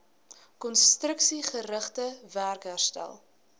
konstruksiegerigte werk herstel